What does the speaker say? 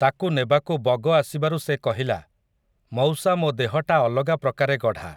ତାକୁ ନେବାକୁ ବଗ ଆସିବାରୁ ସେ କହିଲା, ମଉସା ମୋ ଦେହଟା ଅଲଗା ପ୍ରକାରେ ଗଢ଼ା ।